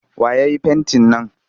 Wa ya yi fentin nan?